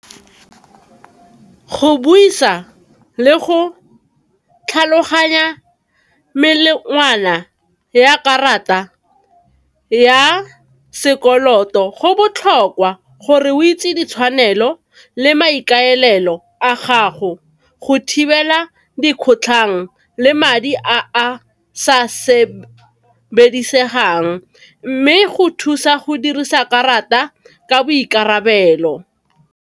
Go buisa le go tlhaloganya ya karata ya sekoloto go botlhokwa gore o itse ditshwanelo le maikaelelo a gago go thibela dikgotlhang le madi a a sa sebedisegang, mme go thusa go dirisa karata ka boikarabelo.